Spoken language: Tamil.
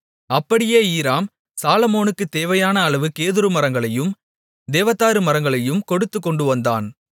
அப்படியே ஈராம் சாலொமோனுக்கு தேவையான அளவு கேதுருமரங்களையும் தேவதாரு மரங்களையும் கொடுத்துக்கொண்டுவந்தான்